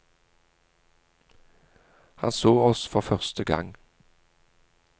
Han så oss for første gang.